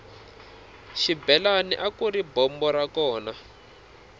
xibelani akuri bombo ra kona